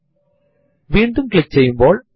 ഇപ്പോൾ ഈ ഔട്ട്പുട്ട് നിരീക്ഷിക്കുക